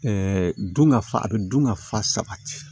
Ɛɛ dun ka fa a bɛ dun ka fa sabati